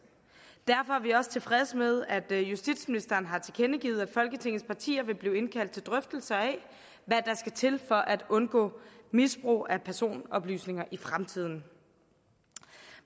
derfor er vi også tilfredse med at justitsministeren har tilkendegivet at folketingets partier vil blive indkaldt til drøftelser af hvad der skal til for at undgå misbrug af personoplysninger i fremtiden